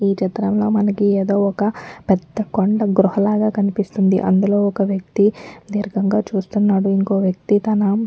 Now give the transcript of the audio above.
ఈచిత్రంలో మనకి ఏదో ఒక్కా పెద్ద కొండ గృహలాగా కనిపిస్తుందిఅందులో ఒక్క వ్యక్తి దీర్ఘంగా చూస్తున్నాడుఇంకో వ్యక్తి తన --